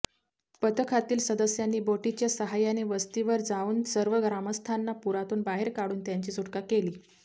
पथकातील सदस्यांनी बोटीच्या सहायाने वस्तीवर जाऊन सर्व ग्रामस्थांना पूरातून बाहेर काढून त्यांची सुटका केली